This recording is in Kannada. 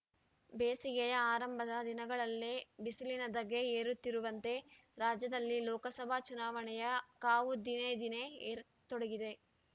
ಬೇಸಿಗೆಯ ಆರಂಭದ ದಿನಗಳಲ್ಲೇ ಬಿಸಿಲಿನ ಧಗೆ ಏರುತ್ತಿರುವಂತೆ ರಾಜ್ಯದಲ್ಲಿ ಲೋಕಸಭಾ ಚುನಾವಣೆಯ ಕಾವು ದಿನೇದಿನೇ ಏರತೊಡಗಿದೆ